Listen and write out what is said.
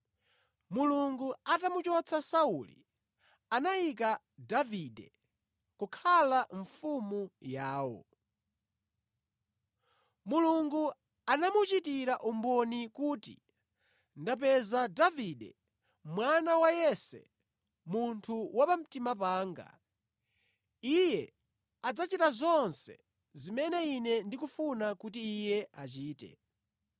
Mulungu atamuchotsa Sauli, anayika Davide kukhala mfumu yawo. Mulungu anamuchitira umboni kuti, ‘Ndapeza Davide mwana wa Yese munthu wa pamtima panga; iye adzachita zonse zimene ine ndikufuna kuti iye achite.’